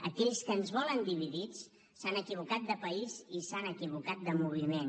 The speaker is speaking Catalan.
aquells que ens volen dividits s’han equivocat de país i s’han equivocat de moviment